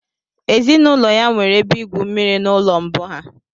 Ezinụlọ ya nwere ebe igwu mmiri n'ụlọ mbụ ha